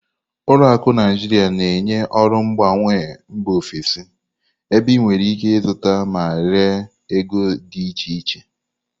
Ụlọ akụ Naijiria na-enye ọrụ mgbanwe mba ofesi, ebe ị nwere ike ịzụta ma ree ego dị iche iche.